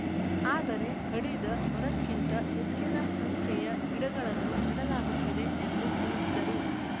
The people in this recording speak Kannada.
ಆದರೆ ಕಡಿದ ಮರಕ್ಕಿಂತ ಹೆಚ್ಚಿನ ಸಂಖ್ಯೆಯ ಗಿಡಗಳನ್ನು ನೆಡಲಾಗುತ್ತಿದೆ ಎಂದು ತಿಳಿಸಿದರು